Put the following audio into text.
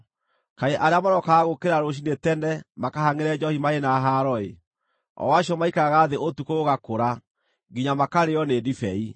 Kaĩ arĩa marokaga gũũkĩra rũciinĩ tene, makahangʼĩre njoohi marĩ na haaro-ĩ! o acio maikaraga thĩ ũtukũ gũgakũra, nginya makarĩĩo nĩ ndibei.